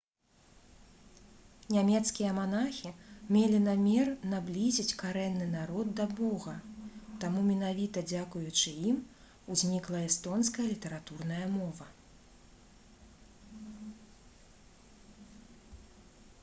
нямецкія манахі мелі намер наблізіць карэнны народ да бога таму менавіта дзякуючы ім узнікла эстонская літаратурная мова